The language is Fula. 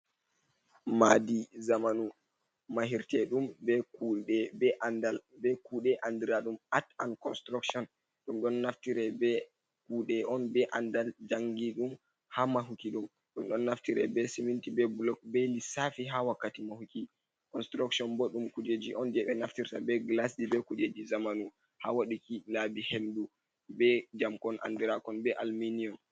Madi zamanu mahirte ɗum be kuɗe be andal be kuɗe andiradum at an construction, ɗum ɗon naftire be kuɗe on be andal jangi ɗum ha mahuki ɗum, ɗum ɗon naftire be seminti, be blok, be lissafi ha wakkati mahuki. Construction bo ɗum kujeji on je ɓe naftirta be glasji be kujeji zamanu, ha waɗuki labi hendu be jamkon andirakon be alminium.